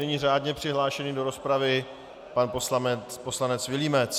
Nyní řádně přihlášený do rozpravy pan poslanec Vilímec.